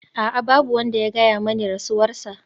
A'a! Babu wanda ya gaya mani rasuwarsa.